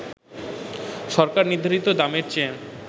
সরকার নির্ধারিত দামের চেয়ে